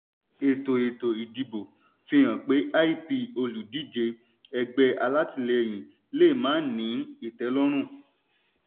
ètò ètò ìdìbò fihàn pé lp olùdíje ẹgbẹ́ alátilẹ́yin lè má ní ìtẹ́lọ̀rùn.